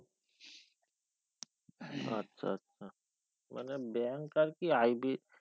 আচ্ছা আচ্ছা মানে bank আরকি IB